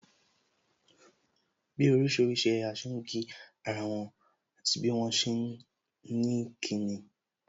Bí orísìírísìí ẹ̀yà ṣe ń kí ara wọn, àti bí wọn ṣe ni kí nin